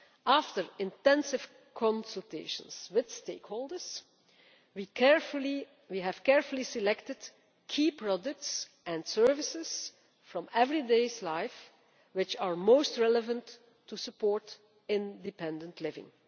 After intensive consultations with stakeholders, we have carefully selected key products and services from everyday life which are most relevant to supporting independent living.